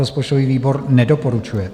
Rozpočtový výbor nedoporučuje.